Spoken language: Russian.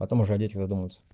потом уже о детях задумаемся